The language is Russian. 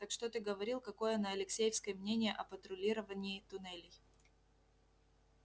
так что ты говорил какое на алексеевской мнение о патрулировании туннелей